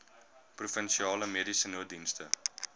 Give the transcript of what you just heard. provinsiale mediese nooddienste